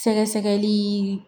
Sɛgɛsɛgɛli